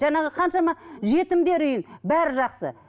жаңағы қаншама жетімдер үйі бәрі жақсы